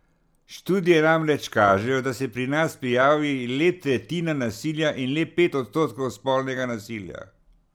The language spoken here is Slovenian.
Študije namreč kažejo, da se pri nas prijavi le tretjina nasilja in le pet odstotkov spolnega nasilja.